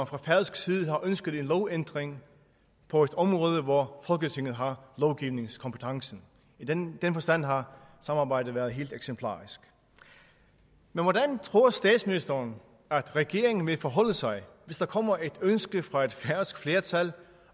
fra færøsk side har ønsket en lovændring på et område hvor folketinget har lovgivningskompetencen i den forstand har samarbejdet været helt eksemplarisk men hvordan tror statsministeren at regeringen vil forholde sig hvis der kommer et ønske fra et færøsk flertal